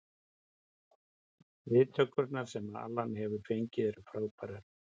Viðtökurnar sem Alan hefur fengið eru frábærar.